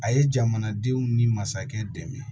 A ye jamanadenw ni masakɛ dɛmɛ